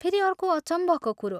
फेरि अर्को अचम्भको कुरो।